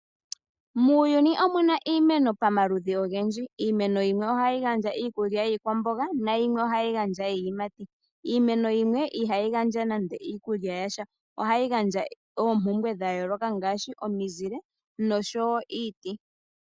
Muuyuni omuna iimeno pamaludhi ogendji. Iimeno yimwe ohayi gandja iikulya yiikwamboga nayimwe ohayi gandja iiyimati. Iimeno yimwe iha yi gandja nande iikulya yasha. Oha yi gandja ompumpwe dhayooloka ngaashi omiizile noshowo.